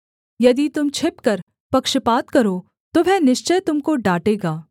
यदि तुम छिपकर पक्षपात करो तो वह निश्चय तुम को डाँटेगा